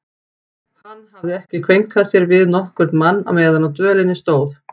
Hann hafði ekki kveinkað sér við nokkurn mann meðan á dvölinni stóð.